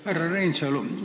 Härra Reinsalu!